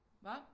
Hva?